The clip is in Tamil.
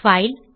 பைல்